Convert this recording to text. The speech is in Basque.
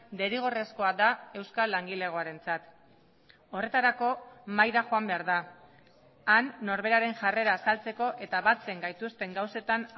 derrigorrezkoa da euskal langilegoarentzat horretarako mahaira joan behar da han norberaren jarrera azaltzeko eta batzen gaituzten gauzetan